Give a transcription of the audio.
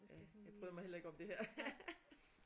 Ja jeg bryder mig heller ikke om det her